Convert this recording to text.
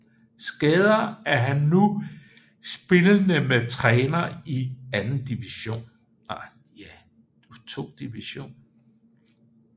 Skader er han nu spillende med træner i 2 DIV